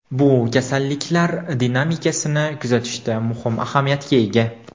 Bu kasalliklar dinamikasini kuzatishda muhim ahamiyatga ega.